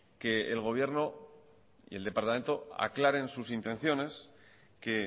que el gobierno y el departamento aclaren sus intenciones que